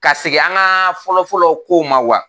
Ka segin an ka fɔlɔ-fɔlɔ kow ma wa